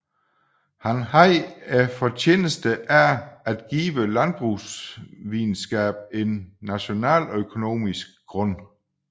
Han havde fortjenesten af at give landbrugsvidenskaben en nationaløkonomisk grund